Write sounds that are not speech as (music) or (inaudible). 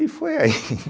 E foi aí. (laughs)